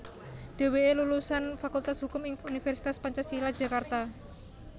Dheweke lulusan Fakultas Hukum ing Universitas Pancasila Jakarta